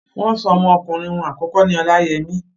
wọ́n so ọmọ ọkùnrin wọn àkọ́kọ́ ní Olayemi.